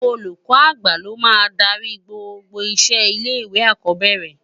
Ólúkò ágbá ló má n dàri gbógbó iṣé ilé iwé ákòbèrè